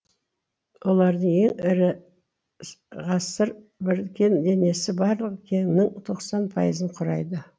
олардың ең ірі ғасыр бір кен денесі барлық кеннің тоқсан пайызын құрайды